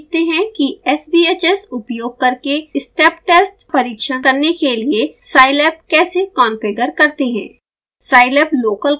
अब सीखते हैं कि sbhs उपयोग करके step test परिक्षण करने के लिए साईलैब कैसे कॉन्फ़िगर करते हैं